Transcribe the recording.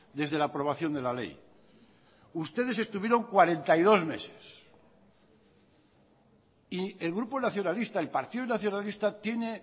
desde la aprobación de la ley ustedes estuvieron cuarenta y dos meses y el grupo nacionalista el partido nacionalista tiene